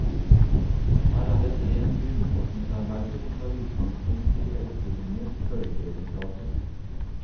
Her er et rent grunnforskningsarbeide som tar utgangspunkt i elektronenes bølgeegenskaper.